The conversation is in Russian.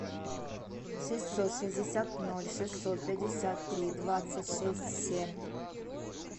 шестьсот шестьдесят ноль шестьсот пятьдесят три двадцать шесть семь